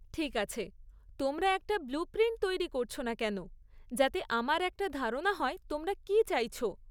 ঠিক আছে, তোমরা একটা ব্লু প্রিন্ট তৈরি করছ না কেন যাতে আমার একটা ধারণা হয় তোমরা কী চাইছ?